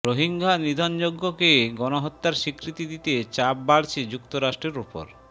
রোহিঙ্গা নিধনযজ্ঞকে গণহত্যার স্বীকৃতি দিতে চাপ বাড়ছে যুক্তরাষ্ট্রের ওপর